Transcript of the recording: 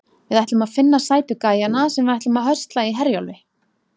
Við ætlum að finna sætu gæjana sem við ætlum að höstla í Herjólfi.